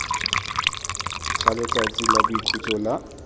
ga letsatsi la boikhutso la